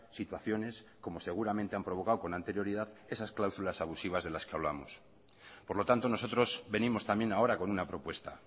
situaciones como seguramente han provocado con anterioridad esas cláusulas abusivas de las que hablamos por lo tanto nosotros venimos también ahora con una propuesta